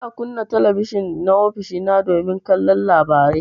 Ina kunna talabijin na ofishina domin kallon labarai.